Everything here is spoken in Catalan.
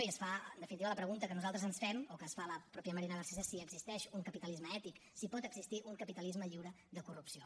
i en definitiva la pregunta que nosaltres ens fem o que es fa la mateixa marina garcés és si existeix un capitalisme ètic si pot existir un capitalisme lliure de corrupció